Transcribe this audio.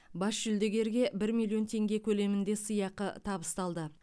бас жүлдегерге бір миллион теңге көлемінде сыйақы табысталды